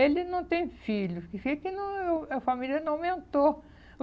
Ele não tem filho, porque que não eu, a família não aumentou.